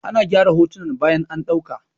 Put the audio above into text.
A na gyara hotuna bayan an ɗauka.